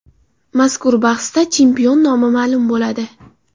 Mazkur bahsda chempion nomi ma’lum bo‘ladi.